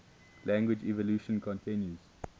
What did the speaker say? language evolution continues